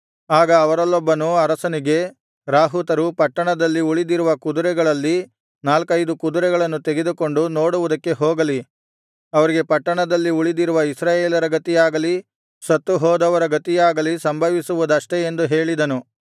ಆಗ ಅವರಲ್ಲೊಬ್ಬನು ಅರಸನಿಗೆ ರಾಹುತರು ಪಟ್ಟಣದಲ್ಲಿ ಉಳಿದಿರುವ ಕುದುರೆಗಳಲ್ಲಿ ನಾಲ್ಕೈದು ಕುದುರೆಗಳನ್ನು ತೆಗೆದುಕೊಂಡು ನೋಡುವುದಕ್ಕೆ ಹೋಗಲಿ ಅವರಿಗೆ ಪಟ್ಟಣದಲ್ಲಿ ಉಳಿದಿರುವ ಇಸ್ರಾಯೇಲರ ಗತಿಯಾಗಲಿ ಸತ್ತುಹೋದವರ ಗತಿಯಾಗಲಿ ಸಂಭವಿಸುವುದಷ್ಟೆ ಎಂದು ಹೇಳಿದನು